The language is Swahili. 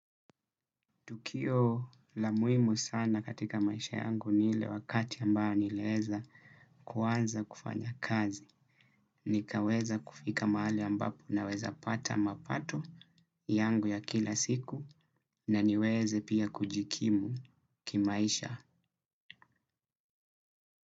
Tukio la muhimu sana katika maisha yangu ile wakati ambayo nilieza kuanza kufanya kazi. Nikaweza kufika mahali ambapo naweza pata mapato yangu ya kila siku naniweze pia kujikimu kimaisha.